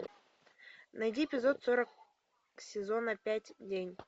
найди эпизод сорок сезона пять день